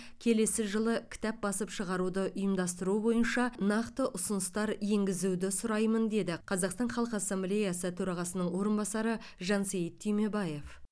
келесі жылы кітап басып шығаруды ұйымдастыру бойынша нақты ұсыныстар енгізуді сұраймын деді қазақстан халық ассамблеясы төрағасының орынбасары жансейіт түймебаев